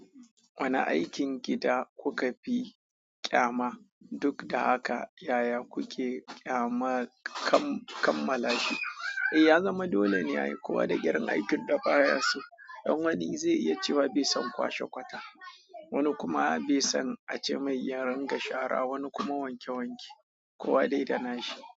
Wane aikin gida kuka fi kyama duk da haka yaya kuke kammala shi? Eh, ya zama dole ne kowa da irin aikin da baya so. Ɗan wani zai iya cewa bai son kwashe kwata, wani kuma bai son ace mai ya rinka shara, wani kuma wanke wanke kowa dai da na shi.